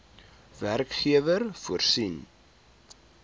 werkgewer voorsien